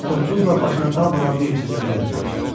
Toppuzla başına dalbadal bir neçə zərbə endirmişdi.